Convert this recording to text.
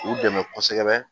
U dɛmɛ kosɛbɛ